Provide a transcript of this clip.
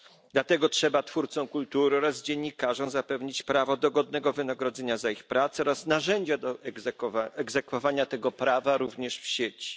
Dlatego trzeba twórcom kultury oraz dziennikarzom zapewnić prawo do godnego wynagrodzenia za ich pracę oraz narzędzia do egzekwowania tego prawa, również w sieci.